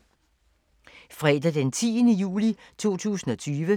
Fredag d. 10. juli 2020